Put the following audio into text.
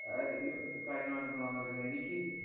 ഏർ ഈ അഹ് കാര്യങ്ങളാണ്‌ ഇപ്പൊ നടന്നോണ്ടിരിക്കുന്നത്. എനിക്ക്